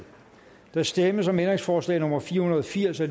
der stemmes om ændringsforslag nummer fire hundrede og firs af